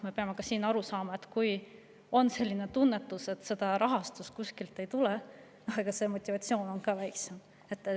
Me peame aru saama, et kui on selline tunnetus, et seda rahastust kuskilt ei tule, siis on ka motivatsioon väiksem.